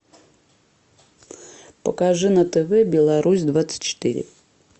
покажи на тв беларусь двадцать четыре